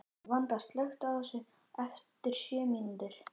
Vanda, slökktu á þessu eftir sjö mínútur.